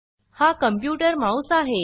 हा computer mouse आहे